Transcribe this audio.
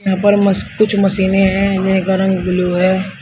यहाँ पर मछ कुछ मशीने है जिनका रंग ब्लू है।